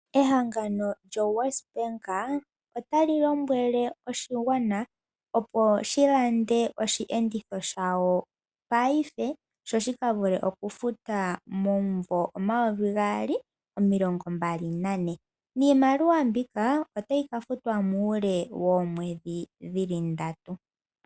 Ehangano lyoWestbank otali lombwele oshigwana opo shi lande osheenditho shawo paife sho shika vule okufuta momumvo omayovi gaali nomilongo mbali nane, niimaliwa mbika otayi ka futwa muule woomwedhi dhili ndatu.